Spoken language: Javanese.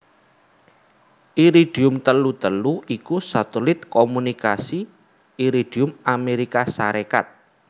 Iridium telu telu iku satelit komunikasi Iridium Amérika Sarékat